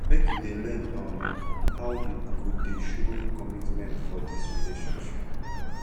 make you dey learn um how you go dey show commitment for dis relationship